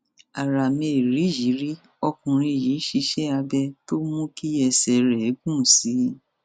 ara mériyìírí ọkùnrin yìí ṣiṣẹ abẹ tó mú kí ẹsẹ rẹ gùn sí i